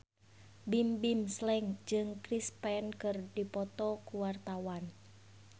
Bimbim Slank jeung Chris Pane keur dipoto ku wartawan